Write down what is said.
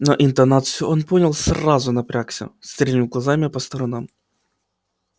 но интонацию он понял сразу напрягся стрельнул глазами по сторонам